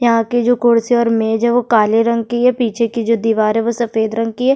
यहाँ की जो कुर्सी और मेज है वो काले रंग की है पीछे की जो दिवार है वो सफ़ेद रंग की है।